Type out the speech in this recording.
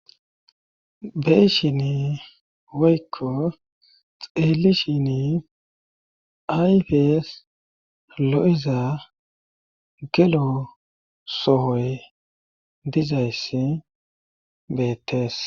Beyshin waykko xeeli shini ayfes lo7iza gelo sohoy dizayss beettees